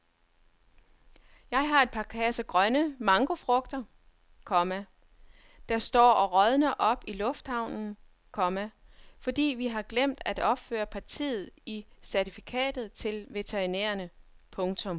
Jeg har et par kasser grønne mangofrugter, komma der står og rådner op i lufthavnen, komma fordi vi har glemt at opføre partiet i certifikatet til veterinærerne. punktum